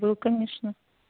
был конечно